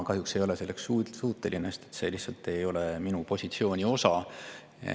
Kahjuks ei ole ma selleks suuteline, sest see lihtsalt ei ole minu positsiooni osa.